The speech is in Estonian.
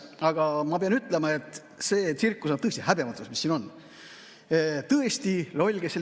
Aga ma pean ütlema, et see tsirkus, mis siin toimub, on tõesti häbematu.